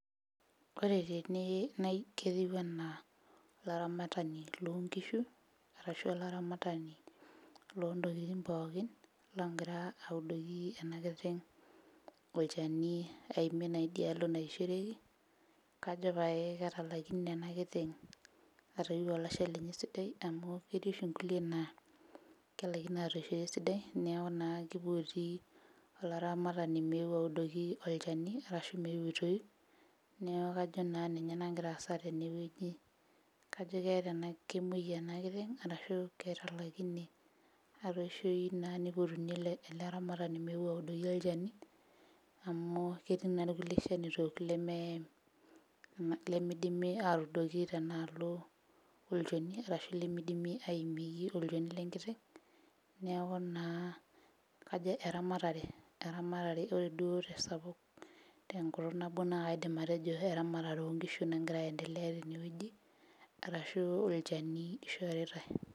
Ore tene nai ketiu anaa olaramatani lonkishu arashu olaramatani lontokiting pookin longira audoki ena kiteng olchani aimie naa idialo naishoreki kajo paye ketalaikine ena kiteng atoiu olashe lenye esidai amu ketii oshi onkulie naa kelaikino atoishoto esidai niaku naa kipoti olaramatani meu audoki olchani arashu meu aitoiu neku kajo naa ninye nagira aasa tenewueji kajo keeta ena kemuoi ena kiteng arashu ketalaikine atoishoyu naa nipotuni ele ele aramatani meu aud oki olchani amu ketii naa irkulie shanito leme lemidimi atuudoki tenaalo olchani arashu lemidimi aimieki olchoni lenkiteng neku naa kajo eramatare ore duo tesapuk tenkutuk nabo naa kaidim atejo eramatare onkishu nagira aendelea tenewueji arashu olchani ishoritae.